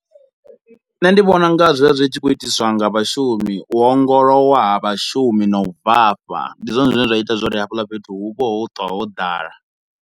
Nṋe ndi vhona unga zwivha zwi tshi khou itiswa nga vhashumi, u ongolowa ha vhashumi na u bvafha. Ndi zwone zwine zwa ita zwori hafhaḽa fhethu hu vho ho ṱwa ho ḓala.